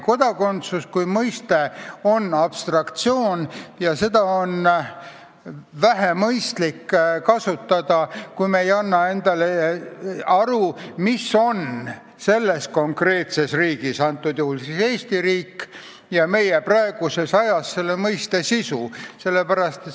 Kodakondsus kui mõiste on abstraktsioon ja seda pole eriti mõistlik kasutada, kui me ei anna endale aru, mis on konkreetses riigis – antud juhul siis Eesti riigis – ja meie praeguses ajas selle mõiste sisu.